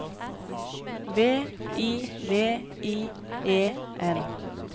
V I V I E N